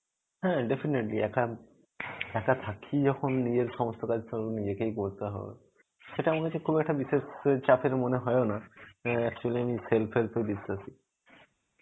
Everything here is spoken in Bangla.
হ্যাঁ, defenately একা য়াম একা থাকি যখন নিজের সমস্থ দায়িত্ব নিজেকেই করতে হবে. সেটা আমার কাছে বিশেষ চাপের মনে হয়ও না. actually আমি self help এ খুবই বিশ্বাসী.